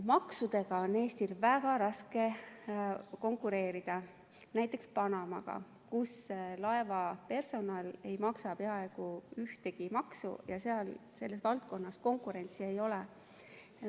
Maksudega on Eestil väga raske konkureerida näiteks Panamaga, kus laevapersonal ei maksa peaaegu ühtegi maksu ja selles valdkonnas konkurentsi ei ole.